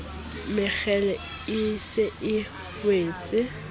mekgele e se e wetse